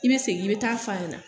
I bɛ segin i bɛ ta'a f'a ɲɛna.